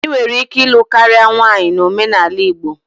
Ị nwere ike ịlụ karịa nwunye na omenala Igbo.